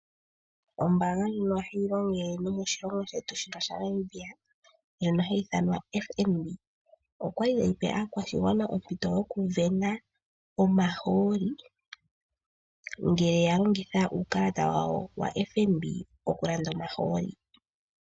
Ombaanga ndjino ohayi longele nomoshilongo shetu shaNamibia ndjono hayi ithanwa FNB. Okwali yape aakwashigwana ompito yoku sindana omahooli ngele yalongitha uukalata wawo wa FNB okulanda omahooli.